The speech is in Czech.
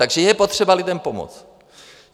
Takže je potřeba lidem pomoct.